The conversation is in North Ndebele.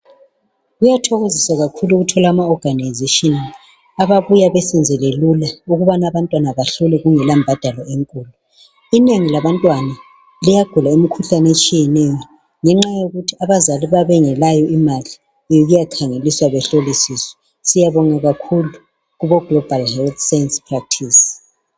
kuthokozisa kakhulu ukuthola ama organisations ababuya besenzele lulaukuthi abantwana bahlolwe kungela mbadalo enkulu inengi labantwana liyagula imikhuhlane etshiyeneyo ngenxa yokuthi abazali babengelayo imali yokuya khangelisa behlolisise siyabonga kakhul ukubo Global health science practice.